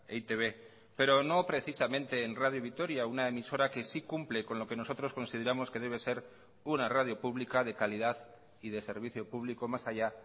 e i te be pero no precisamente en radio vitoria una emisora que sí cumple con lo que nosotros consideramos que debe ser una radio pública de calidad y de servicio público más allá